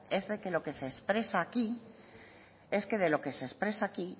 es de que lo que se expresa aquí